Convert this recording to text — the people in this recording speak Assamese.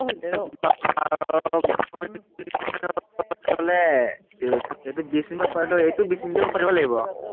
এৰ এইটো বিশ মিনিটমান কৰাই দিলো, এইটোও বিশ মিনিটেই পাতিব লাগিব আৰু।